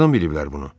Hardan biliblər bunu?